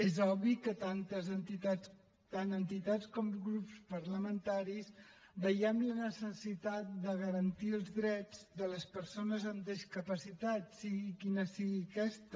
és obvi que tant entitats com grups parlamentaris veiem la necessitat de garantir els drets de les persones amb discapacitat sigui quina sigui aquesta